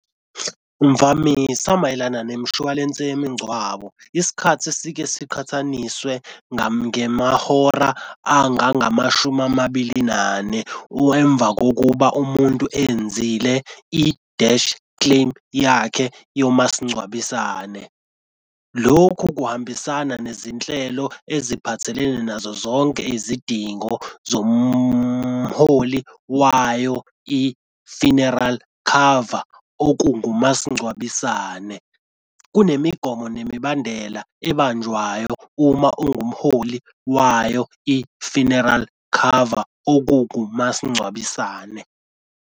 Mvamisa mayelana nemishwalense yemincwabo isikhathi esike siqhathaniswe ngemahora angangamashumi amabili nane emva kokuba umuntu eyenzile ideshi claim yakhe yomasingcwabisane. Lokhu kuhambisana nezinhlelo eziphathelene nazo zonke izidingo zomholi wayo i-funeral cover okungumasingcwabisane. Kunemigomo nemibandela ebanjwayo uma ungumholi wayo, i-funeral cover okukumasingcwabisane.